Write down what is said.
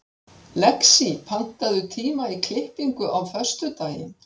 Lexí, pantaðu tíma í klippingu á föstudaginn.